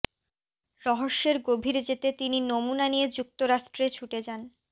রহস্যের গভীরে যেতে তিনি নমুনা নিয়ে যুক্তরাষ্ট্রে ছুটে যান